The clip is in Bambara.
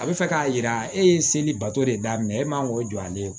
A bɛ fɛ k'a yira e ye seli bato de daminɛ e man k'o jɔ ale ye